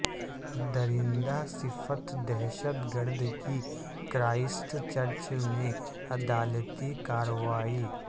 درندہ صفت دہشت گرد کی کرائسٹ چرچ میں عدالتی کاروائی